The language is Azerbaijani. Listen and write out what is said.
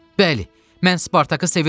Bəli, mən Spartakı sevirəm.